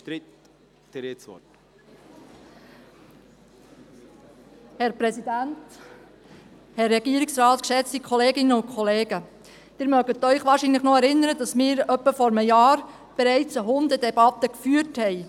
Sie erinnern sich wohl noch, dass wir etwa vor einem Jahr bereits eine Hundedebatte geführt haben.